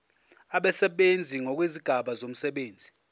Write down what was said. abasebenzi ngokwezigaba zomsebenzi